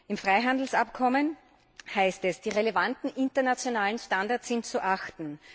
Im Freihandelsabkommen heißt es Die relevanten internationalen Standards sind zu achten.